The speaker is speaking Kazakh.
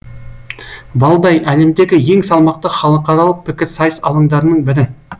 валдай әлемдегі ең салмақты халықаралық пікірсайыс алаңдарының бірі